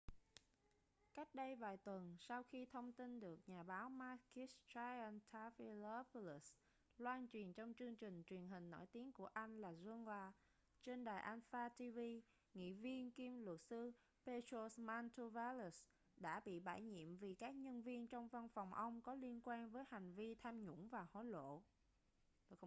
cách đây vài tuần sau khi thông tin được nhà báo makis triantafylopoulos loan truyền trong chương trình truyền hình nổi tiếng của anh là zoungla trên đài alpha tv nghị viên kiêm luật sư petros mantouvalos đã bị bãi nhiệm vì các nhân viên trong văn phòng ông có liên quan với hành vi tham nhũng và hối lộ